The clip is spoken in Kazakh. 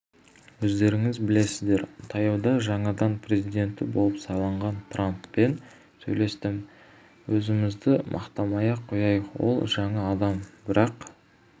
өздеріңіз білесіздер таяуда жаңадан президенті болып сайланған трамппен сөйлестім өзімізді мақтамай-ақ қояйық ол жаңа адам бірақ